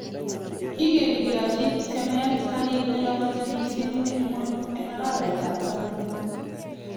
Kigeni keyachi tiemet garit nelabati missing eng ngwony Eng arawet ab taman